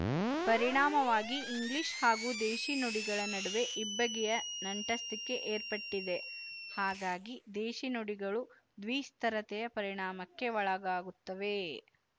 ಪರಿಣಾಮವಾಗಿ ಇಂಗ್ಲಿಶು ಹಾಗೂ ದೇಶೀ ನುಡಿಗಳ ನಡುವೆ ಇಬ್ಬಗೆಯ ನಂಟಸ್ತಿಕೆ ಏರ್ಪಟ್ಟಿದೆ ಹಾಗಾಗಿ ದೇಶಿ ನುಡಿಗಳು ದ್ವಿಸ್ತರತೆಯ ಪರಿಣಾಮಕ್ಕೆ ಒಳಗಾಗುತ್ತವೆ